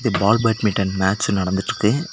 பால் badminton match நடத்துட்டு இருக்கு.